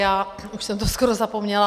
Já už jsem to skoro zapomněla.